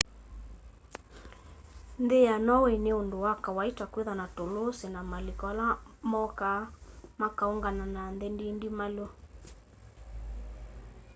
nthĩ ya norway nĩ ũndũ wa kawaita kwĩtha na tũlũsĩ na malĩko ala mokaa makaũngana na nthĩ ndĩndĩmalũ